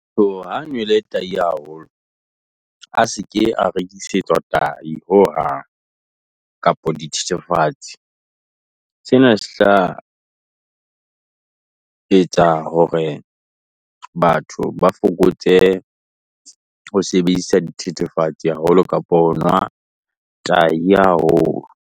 So ha nwele tahi haholo, a seke a rekisetswa tahi hohang, kapa di thethefatse. Sena se tla etsa hore batho ba fokotse ho sebedisa dithethefatse haholo kapa ho nwa tahi haholo.